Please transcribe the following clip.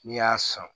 N'i y'a san